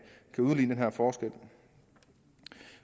udligne den her forskel